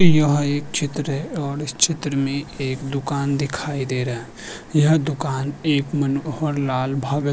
यह एक चित्र है और इस चित्र में एक दुकान दिखाई दे रहा है यह दुकान एक मनोहर लाल भगत --